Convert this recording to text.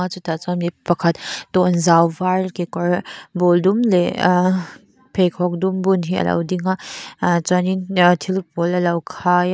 chutah chuan mi pakhat tawnzau var kekawr bul dum leh ahh pheikhawk dum bun hi a lo ding a chuan in thil pawl a lo khai a.